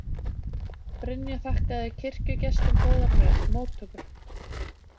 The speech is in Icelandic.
Brynja þakkaði kirkjugestum góðar móttökur